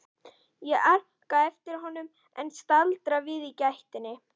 Ég arkaði á eftir honum en staldraði við í gættinni.